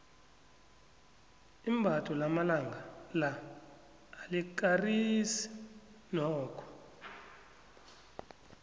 imbatho lamalanga la alikarisi nokho